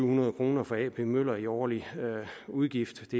hundrede kroner for ap møller i årlig udgift